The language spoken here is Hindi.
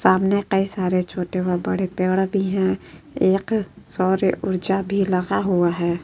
सामने कई सारे छोटे व बड़े पेड़ भी हैं। एक सौर ऊर्जा भी लगा हुआ है।